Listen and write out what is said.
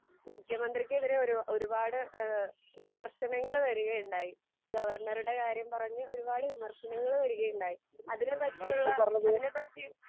മുഖ്യമന്ത്രിക്കെതിരെ ഒരു ഒരുപാട് ഈഹ് വിമർശനങ്ങൾ വരികയുണ്ടായി. ഗവർണറുടെ കാര്യം പറഞ്ഞ് ഒരുപാട് വിമർശനങ്ങൾ വരികയുണ്ടായി. അതിനെപ്പറ്റിയുള്ള, അതിനെപ്പറ്റി